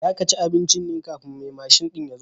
Za ka ci abincin ne kafin mai mashin ɗin ya zo?